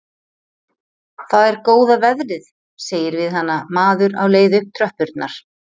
Það er góða veðrið, segir við hana maður á leið upp tröppurnar.